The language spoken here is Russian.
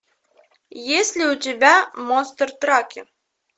есть ли у тебя монстр траки